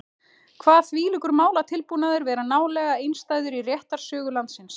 Kvað þvílíkur málatilbúnaður vera nálega einstæður í réttarsögu landsins.